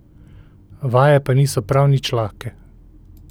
Vaje pa niso prav nič lahke.